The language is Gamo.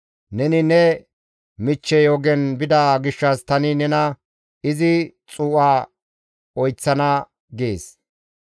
Neni ne michchey ogen bida gishshas tani nena izi xuu7a oyththana› gees.